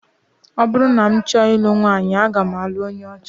Ọ bụrụ na m chọọ ilu nwaanyị, aga m alụ onye ọcha